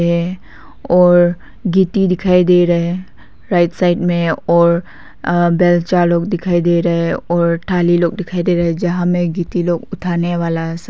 और गिट्टी दिखाई दे रहा है राइट साइड में और अ बेलचा लोग दिखाई दे रहे हैं और थाली लोग दिखाई दे रहे जहां में गिट्टी लोग उठाने वाला सब--